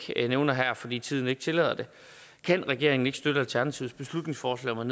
nævner her fordi tiden ikke tillader det kan regeringen ikke støtte alternativets beslutningsforslag om